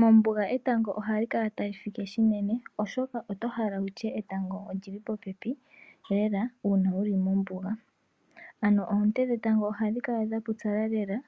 Mombuga etango ohali kala tali fike shinene oshoka otohala wutye etango olili popepi lela uuna wuli mombunga. Ano oonte dhetango ohadhi kala dhapupyala lela